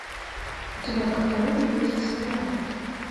у тебя в каталоге есть спираль